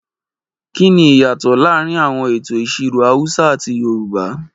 Kí ni ìyàtọ̀ láàrin àwọn ètò ìṣirò Hausa àti Yorùbá?